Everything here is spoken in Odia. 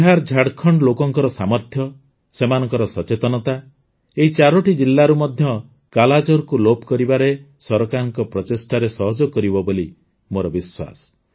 ବିହାରଝାଡ଼ଖଣ୍ଡର ଲୋକଙ୍କ ସାମର୍ଥ୍ୟ ସେମାନଙ୍କ ସଚେତନତା ଏହି ୪ଟି ଜିଲ୍ଲାରୁ ମଧ୍ୟ କାଲାଜାରକୁ ଲୋପ କରିବାରେ ସରକାରଙ୍କ ପ୍ରଚେଷ୍ଟାରେ ସହଯୋଗ କରିବ ବୋଲି ମୋର ବିଶ୍ୱାସ